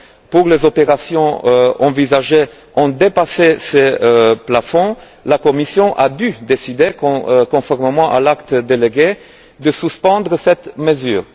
pour les opérations envisagées ont dépassé ces plafonds, la Commission a dû décider, conformément à l'acte délégué, de suspendre cette mesure.